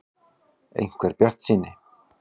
. einhver bjartsýni.